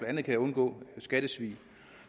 andet kan undgå skattesvig